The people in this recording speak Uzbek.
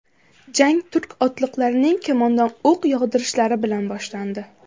Jang turk otliqlarining kamondan o‘q yog‘dirishlari bilan boshlandi.